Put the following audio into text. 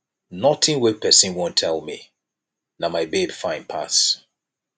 nothing wey person wan tell me na my babe fine pass